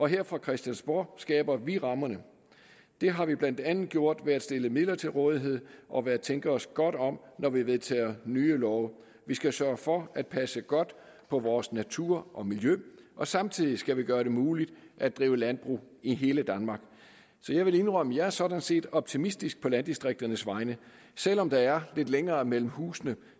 her fra christiansborg skaber vi rammerne det har vi blandt andet gjort ved at stille midler til rådighed og ved at tænke os godt om når vi vedtager nye love vi skal sørge for at passe godt på vores natur og miljø og samtidig skal vi gøre det muligt at drive landbrug i hele danmark så jeg vil indrømme at jeg sådan set er optimistisk på landdistrikternes vegne selv om der er lidt længere mellem husene